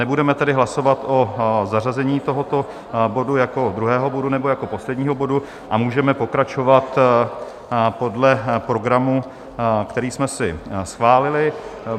Nebudeme tedy hlasovat o zařazení tohoto bodu jako druhého bodu nebo jako posledního bodu a můžeme pokračovat podle programu, který jsme si schválili.